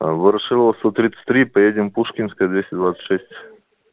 а ворошилова сто тридцать три поедем пушкинская двести двадцать шесть